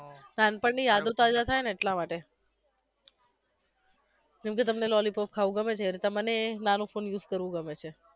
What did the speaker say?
નાનપણની યાદો તાજા થાય ને એટલા માટે જેમકે તમને લોલીપોપ ખાવુ ગમે છે એ રીતે મને નાનો ફોન use કરવુ ગમે છે